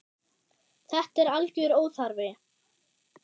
Þetta er algjör óþarfi.